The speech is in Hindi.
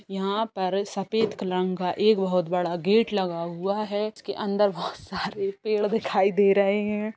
यहाँ पर सफेद कलंग का एक बहोत बड़ा गेट लगा हुआ है जिसके अंदर बहोत सारे पेड़ दिखाई दे रहे है।